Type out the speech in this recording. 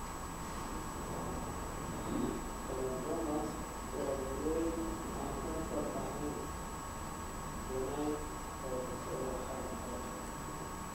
Cylindromas waa burooyin aan kansar ahayn (benign) oo ka soo baxa maqaarka.